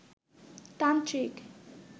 তান্ত্রিক